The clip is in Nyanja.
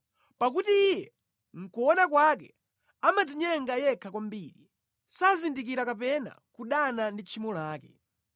Pakuti iye mʼkuona kwake amadzinyenga yekha kwambiri, sazindikira kapena kudana ndi tchimo lake.